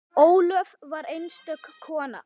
Ólöf var einstök kona.